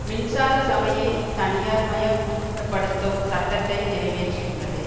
மின்சார சபையை தனியார்மயபடுத்தும் சட்டத்தை நிறைவேற்றியுள்ளது